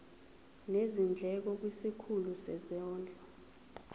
nezindleko kwisikhulu sezondlo